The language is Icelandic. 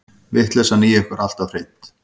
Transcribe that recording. Vitleysan í ykkur alltaf hreint.